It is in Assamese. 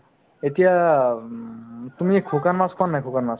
এতিয়া উম তুমি শুকান মাছ খোৱানে নাই শুকান মাছ